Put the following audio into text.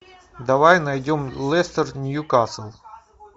давай найдем лестер ньюкасл